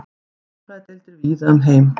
sálfræðideildir víða um heim